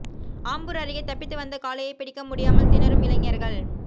ஆம்பூா் அருகே தப்பித்து வந்த காளையை பிடிக்க முடியாமல் திணறும் இளைஞா்கள்